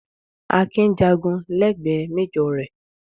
Akin jàgun lẹ́gbẹ̀ẹ́ méjọ̀ rẹ̀.